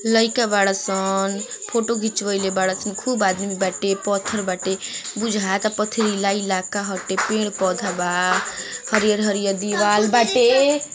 Like a बाड़ा सन| photo घिचवॉयले बाड़ सन| खूब आदमी बाटे पत्थर बाटे बुझाता पथरीला इलाका हटे| पेड़ पौधा बा| हरिअर - हरिअर दीवाल बाटे।